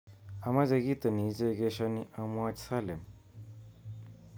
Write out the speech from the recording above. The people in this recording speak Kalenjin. Amache kito nichekeshoni amwoch Salim